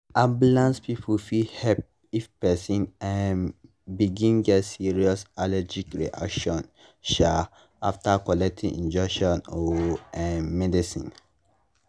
ambulance people fit help if person um begin get serious allergic reaction um after collect injection or um medicine.